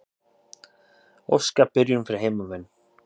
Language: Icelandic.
Óska byrjun fyrir heimamenn.